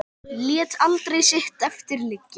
Lét aldrei sitt eftir liggja.